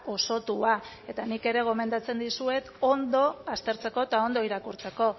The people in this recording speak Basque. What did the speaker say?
osotua eta nik ere gomendatzen dizuet ondo aztertzeko eta ondo irakurtzeko